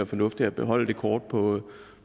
fornuftigt at beholde det kort på